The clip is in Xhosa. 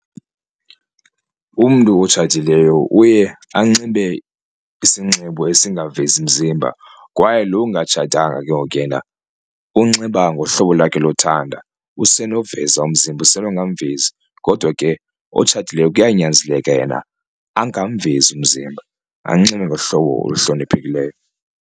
Umntu otshatileyo uye anxibe isinxibo esingavezi mzimba kwaye lo ungatshatanga ke ngoku yena unxiba ngohlobo lakhe lothanda, usenoveza umzimba usenongamvezi kodwa ke otshatileyo kuyanyanzeleka yena angamvezi umzimba anxibe ngohlobo oluhloniphekileyo.